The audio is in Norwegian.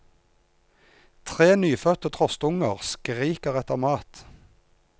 Tre nyfødte trostunger skriker etter mat.